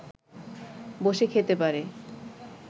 বসে খেতে পারে